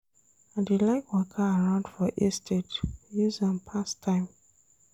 I dey like waka around for estate, use am pass time.